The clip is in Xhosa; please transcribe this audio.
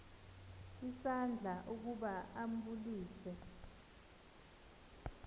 isandla ukuba ambulise